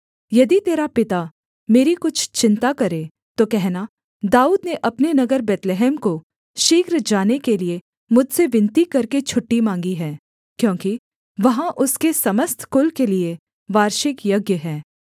यदि तेरा पिता मेरी कुछ चिन्ता करे तो कहना दाऊद ने अपने नगर बैतलहम को शीघ्र जाने के लिये मुझसे विनती करके छुट्टी माँगी है क्योंकि वहाँ उसके समस्त कुल के लिये वार्षिक यज्ञ है